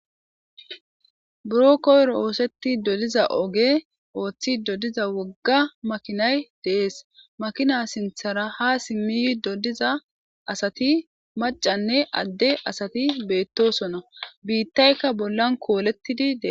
Buro koyro oosetti dodiza oge ooththi doddiza wogga makinay deees makina sinthara ha simmiyi doddiza asati macanne adde asati beettosona biittaykka bollan koolettidi dees.